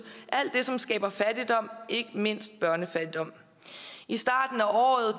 alt det som skaber fattigdom ikke mindst børnefattigdom i starten